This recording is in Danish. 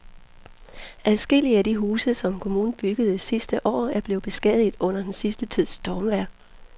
Adskillige af de huse, som kommunen byggede sidste år, er blevet beskadiget under den sidste tids stormvejr.